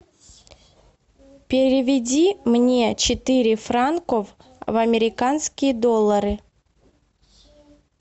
переведи мне четыре франков в американские доллары